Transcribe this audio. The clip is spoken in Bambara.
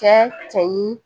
Cɛ cɛ ɲi